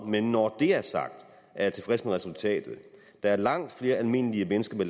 men når det er sagt er jeg tilfreds med resultatet der er langt flere almindelige mennesker med